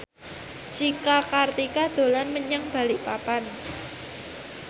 Cika Kartika dolan menyang Balikpapan